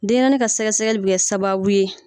denɲɛrɛnin ka sɛgɛsɛgɛli bɛ kɛ sababu ye